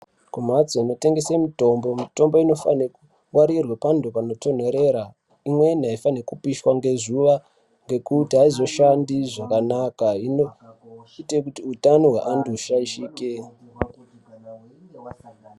Kumhatso inotengeswa mitombo mitombo inofane kugara panotondorera imwni aifaniri kupishwa ngezuwa nekuti aizoshandi zvakanaka inoite kuti utano hwevanthu hushaishike.